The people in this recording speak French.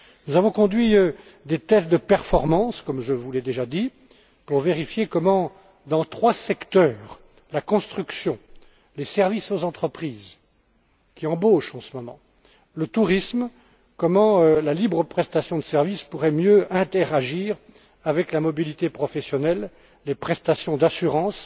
Nous avons conduit des tests de performance, comme je vous l'ai déjà dit, pour vérifier comment, dans trois secteurs la construction, les services aux entreprises, qui embauchent en ce moment, et le tourisme la libre prestation de services pourrait mieux interagir avec la mobilité professionnelle, les prestations d'assurance,